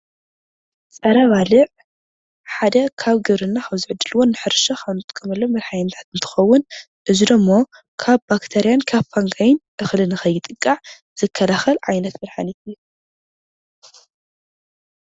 ፀረ-ባዕልዕ ሓደ ካብ ግብርና ካብ ዝዕድልዎን ንሕርሻን ካብ እንጥቀመሉን መድሓኒታት እንትከውን እዚ ደሞ ካብ ባክተርያን ካብ ፋንጋይን እክሊ ንከይጥቃዕ ዝከላከል ዓይነት መድሓኒት እዩ።